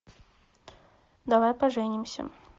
давай поженимся